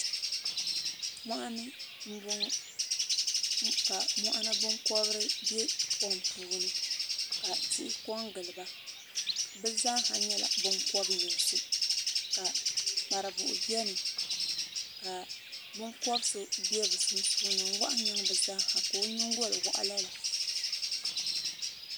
Mɔɣini n bɔŋɔ ka mɔɣini binkɔbiri bɛ kom puuni ka tihi ko n gili ba bi zaaha nyɛla binkɔbi yinsi ka kparibuhi bɛni ka binkɔbi so bɛ bi sunsuuni n wɔɣi n yiɛŋ bi zaa ha ka o yingoli wɔɣi lala.